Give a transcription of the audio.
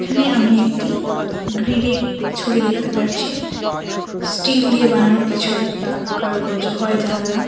এখানে আমি একটি গ্রিলের ছবি দেখতে পারছি স্টিল দিয়ে বানানো কিছু একটা কারুকার্য হয় জানালা।